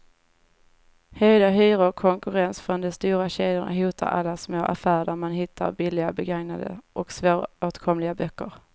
Höjda hyror och konkurrens från de stora kedjorna hotar alla små affärer där man hittar billiga, begagnade och svåråtkomliga böcker.